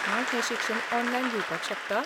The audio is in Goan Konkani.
हांव हें शिक्षण ऑनलायन घेवपाक शकता?